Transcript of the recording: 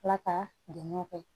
Ala ka dɛmɛw kɛ